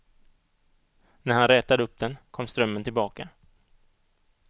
När han rätade upp den, kom strömmen tillbaka.